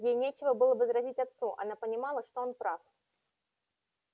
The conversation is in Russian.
ей нечего было возразить отцу она понимала что он прав